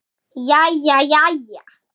Jæja jæja.